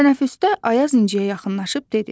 Tənəffüsdə Ayaz İnciyə yaxınlaşıb dedi: